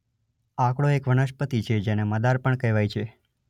આકડો એક વનસ્પતિ છે જેને મદાર પણ કહેવાય છે.